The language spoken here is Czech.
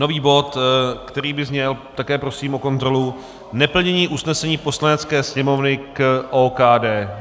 Nový bod, který by zněl, také prosím o kontrolu, Neplnění usnesení Poslanecké sněmovny k OKD.